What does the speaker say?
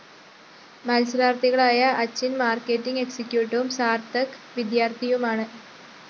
മത്സരാര്‍ത്ഥികളായ Achin‍ marketing എക്‌സിക്യൂട്ടിവും സാര്‍ത്ഥക് വിദ്യാര്‍ത്ഥിയുമാണ്